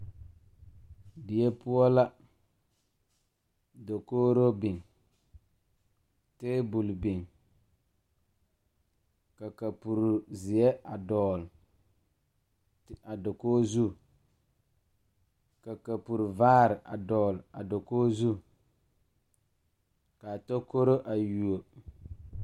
Die poɔ la dakogro biŋ tabol biŋ ka kapure zeɛ a dɔgle a dakoge zu ka kapure vaare a dɔgle a dakoge zu kaa tokoro a yuo.